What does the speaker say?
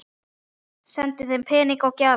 Sendi þeim peninga og gjafir.